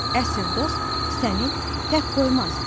Əsl dost səni tək qoymaz.